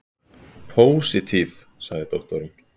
Pósitív, sagði doktorinn.